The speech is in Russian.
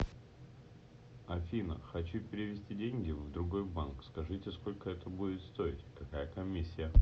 афина хочу перевести деньги в другой банк скажите сколько это будет стоить какая комиссия